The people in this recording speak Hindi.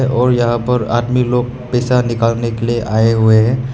और यहां पर आदमी लोग पैसा निकालने के लिए आए हुए हैं।